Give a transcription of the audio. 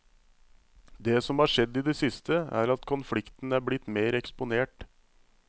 Det som har skjedd i det siste, er at konflikten er blitt mer eksponert.